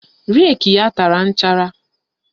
Reki ya tara nchara